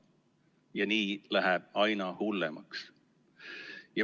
Ja nii läheb aina hullemaks.